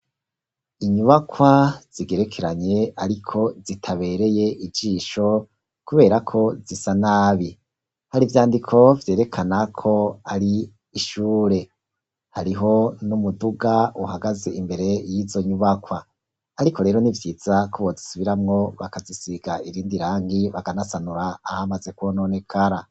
Inyubakwa zigerekeranye ariko zitabereye ijisho kuberako zisa nabi. Hari ivyandiko vyerekana ko ari ishure. Hariho n'umuduga uhagaze imbere y'izo nyubakwa, ariko rero nivyiza ko bozisubiramwo, bakazisiga irindi rangi, bakanasanura ahamaze kwononekara.